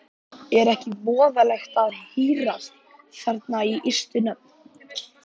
Er ekki voðalegt að hírast þarna á ystu nöf?